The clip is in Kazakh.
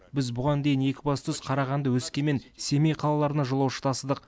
біз бұған дейін екібастұз қарағанды өскемен семей қалаларына жолаушы тасыдық